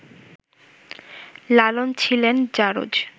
লালন ছিলেন ‘জারজ’